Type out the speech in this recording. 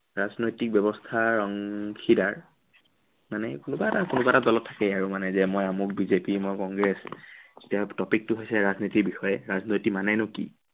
ৰাজনৈতিক ব্য়ৱস্থাৰ অংশীদাৰ। মানে কোনোবা এটা কোনোবা এটা দলত থাকেই আৰু যে মানে মই আমুক বিজেপি, মই কংগ্ৰেছ। এতিয়া topic টো হৈছে ৰাজনীতিৰ বিষয়ে, ৰাজনৈতি মানেনো কি?